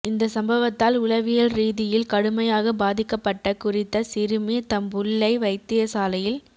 இந்த சம்பவத்தால் உளவியல் ரீதியில் கடுமையாக பாதிக்கப்பட்ட குறித்த சிறுமி தம்புள்ளை வைத்தியசாலையில்